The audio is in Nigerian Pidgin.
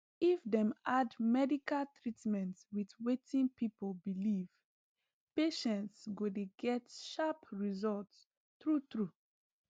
if dem add medical treatment with wetin people believe patients go dey get sharp result true true